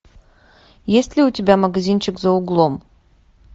есть ли у тебя магазинчик за углом